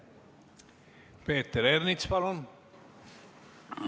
Peeter Ernits, palun!